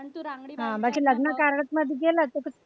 बाकी लग्न कार्यात मध्ये गेलं कि